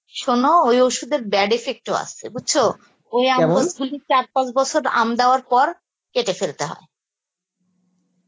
সন ওই অষুধের bad effect ও আছে বুঝছো ওই গুলি চার পাঁচ বছর আম দেওয়ার পর কেটে ফেলতে হয়